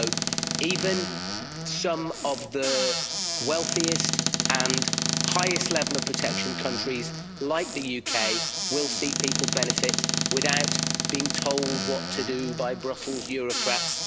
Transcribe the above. So even some of the wealthiest and highest level of protection countries, like the UK, will see people benefit without being told what to do by Brussels bureaucrats.